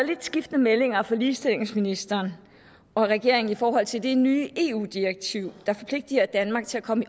lidt skiftende meldinger fra ligestillingsministeren og regeringen i forhold til det nye eu direktiv der forpligtiger danmark til at komme